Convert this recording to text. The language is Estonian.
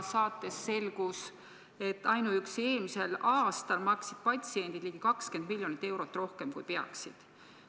Saates selgus, et ainuüksi eelmisel aastal maksid patsiendid ligi 20 miljonit eurot rohkem, kui peaksid.